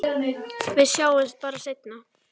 Við sjáumst bara seinna.